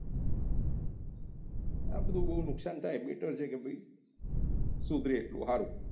આ બધું બહુ નુકસાન થાય બેટર છે કે ભાઈ ધરે એટલું સારું